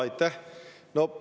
Aitäh!